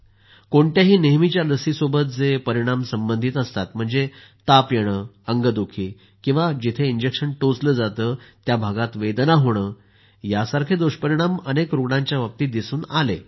कोणत्याही नेहमीच्या लसीसोबत जे परिणाम संबंधित असतात म्हणजे ताप येणं संपूर्ण अंगदुखी किंवा जेथे इंजेक्शन टोचलं जातं त्या भागात वेदना होणं हे दुष्परिणाम प्रत्येक रूग्णाच्या बाबतीत पाहिले आहेत